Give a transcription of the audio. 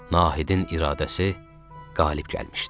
Nahidin iradəsi qalib gəlmişdi.